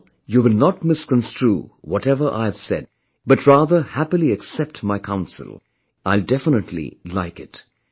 I am sure you will not misconstrue whatever I've said, but rather happily accept my counsel; I will definitely like it